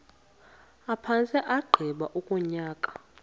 aphantse agqiba unyaka